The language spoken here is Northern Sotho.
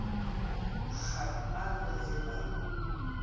gaan aan le ge ba